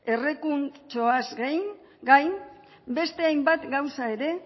errekurtsoaz gain beste hainbat gauza ere